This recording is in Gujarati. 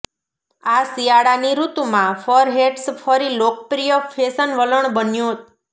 આ શિયાળાની ઋતુમાં ફર હેટ્સ ફરી લોકપ્રિય ફેશન વલણ બન્યો